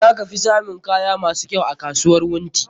Za ka fi samun kaya masu kyau a kasuwar Wunti.